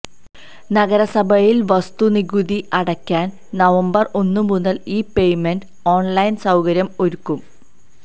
നഗരസഭയിൽ വസ്തുനികുതി അടയ്ക്കാൻ നവംബർ ഒന്നു മുതൽ ഈ പേയ്മൻെറ് ഓൺലൈൻ സൌകര്യം ഒരുക്കും